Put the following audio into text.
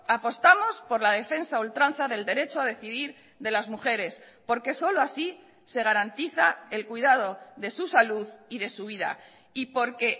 apostamos por la defensa a ultranza del derecho a decidir de las mujeres porque solo así se garantiza el cuidado de su salud y de su vida y porque